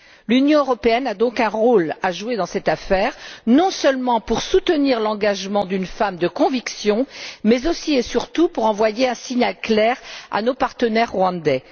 L'Union européenne a donc un rôle à jouer dans cette affaire, non seulement pour soutenir l'engagement d'une femme de conviction mais aussi, et surtout, pour envoyer un signal clair à nos partenaires rwandais.